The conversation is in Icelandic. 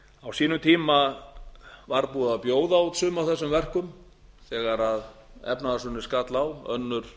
á sínum tíma var búið að bjóða út sum af þessum verkum þegar efnahagshrunið skall á önnur